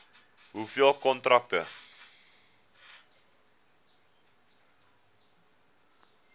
hoeveel kontrakte